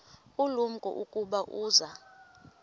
ulumko ukuba uza